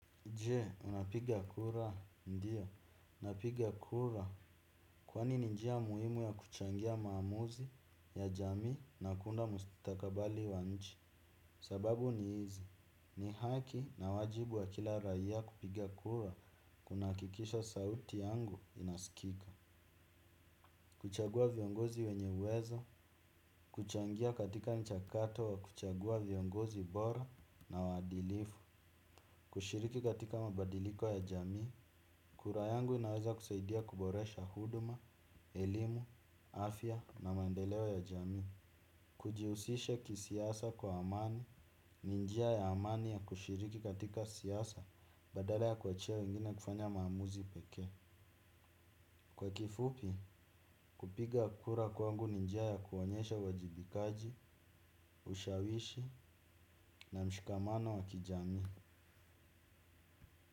Je? Unapiga kura ndio, napiga kura, kwani ni njia muhimu ya kuchangia maamuzi ya jamii na kuunda mustakabali wa nchi, sababu ni hizi. Ni haki na wajibu wa kila raia kupiga kura, kunahakikisha sauti yangu inaskika. Kuchagua viongozi wenye uwezo, kuchangia katika nchakato wa kuchagua viongozi bora na waadilifu. Kushiriki katika mabadiliko ya jamii. Kura yangu inaweza kusaidia kuboresha huduma, elimu, afya na maendeleo ya jamii. Tujihusishe kisiasa kwa amani, ni njia ya amani ya kushiriki katika siasa, badale ya kuachia wengine kufanya maamuzi pekee. Kwa kifupi, kupiga kura kwangu ni njia ya kuonyesha wajibikaji, ushawishi na mshikamano wa kijamii.